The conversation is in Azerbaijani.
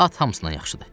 At hamısından yaxşıdır.